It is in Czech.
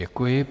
Děkuji.